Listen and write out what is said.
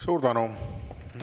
Suur tänu!